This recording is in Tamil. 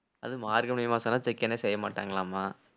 அதும் மார்கழி மாசம்னா சிக்கனே செய்ய மாட்டாங்களாமா